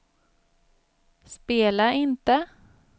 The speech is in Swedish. spela inte